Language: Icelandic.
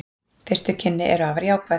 Fyrstu kynni eru afar jákvæð